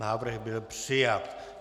Návrh byl přijat.